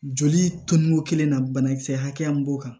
Joli tonko kelen na banakisɛ hakɛya min b'o kan